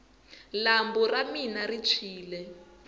lambu ra mina ri tshwini